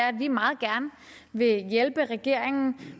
at vi meget gerne vil hjælpe regeringen